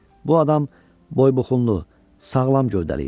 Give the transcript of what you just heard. Bu adam boybuxunlu, sağlam gövdəli idi.